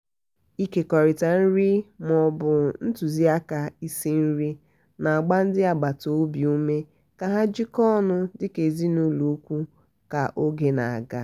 ịkekọrịta nri ma ọ bụ ntụziaka isi-nri na-agba ndị agbata obi ume ka ha jikọọ ọnụ dị ka ezinaụlọ ùkwù ka oge na-aga.